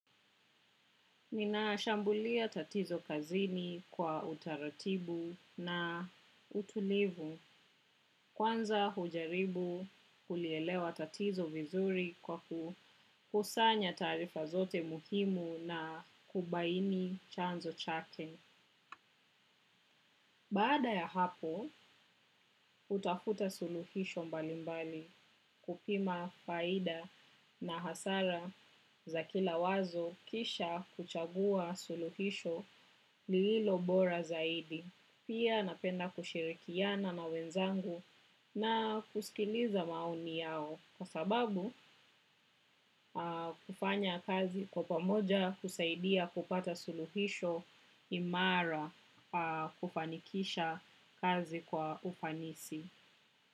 Ninashambulia tatizo kazini kwa utaratibu na utulivu kwanza hujaribu kulielewa tatizo vizuri kwa kukusanya taarifa zote muhimu na kubaini chanzo chake. Baada ya hapo, hutafuta suluhisho mbalimbali kupima faida na hasara za kila wazo kisha kuchagua suluhisho lililo bora zaidi. Pia napenda kushirikiana na wenzangu na kusikiliza maoni yao. Kwa sababu kufanya kazi kwa pamoja husaidia kupata suluhisho imara kufanikisha kazi kwa ufanisi.